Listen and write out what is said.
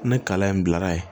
Ni kala in bilara yen